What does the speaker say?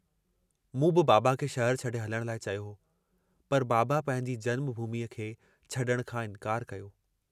मूं बि बाबा खे शहर छडे हलण लाइ चयो हो, पर बाबा पंहिंजी जन्म भूमीअ खे छडुण खां इन्कारु कयो।